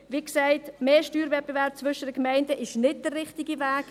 Wie gesagt, mehr Steuerwettbewerb zwischen den Gemeinden ist nicht der richtige Weg.